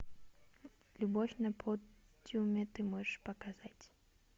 любовь на подиуме ты можешь показать